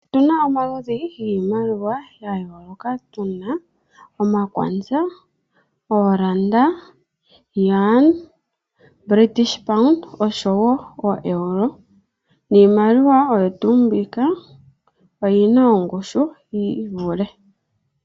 Otuna omaludhi giimaliwa ya yooloka, tuna Omakwanza, Ooranda, Yuan nosho wo British Pound nosho wo oo Euro. Niimaliwa oyo tuu mbika oyina ongushu yi ivule.